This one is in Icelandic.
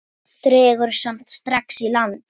Dregur samt strax í land.